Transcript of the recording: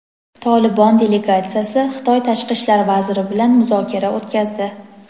"Tolibon" delegatsiyasi Xitoy tashqi ishlar vaziri bilan muzokara o‘tkazdi.